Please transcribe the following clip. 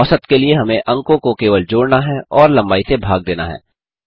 औसत के लिए हमें अंकों को केवल जोड़ना है और लम्बाई से भाग देना है